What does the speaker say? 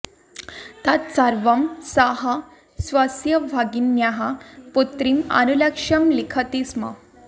तत् सर्वं सः स्वस्य भगिन्याः पुत्रीम् अनुलक्ष्य लिखति स्म